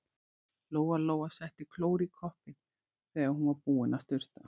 Lóa-Lóa setti klór í koppinn þegar hún var búin að sturta.